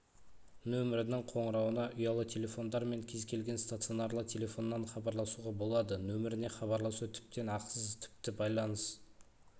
нөмірінің қоңырауына ұялы телефондар мен кез-келген стационарлы телефоннан хабарласуға болады нөміріне хабарласу тіптен ақысыз тіпті байланыс